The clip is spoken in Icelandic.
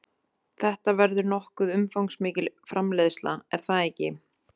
Þetta verður nokkuð umfangsmikil framleiðsla, er það ekki?